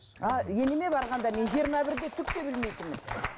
а енеме барғанда мен жиырма бірде түкте білмейтінмін